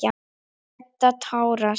Edda tárast.